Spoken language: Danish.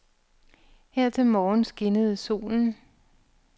Her til morgen skinnede solen.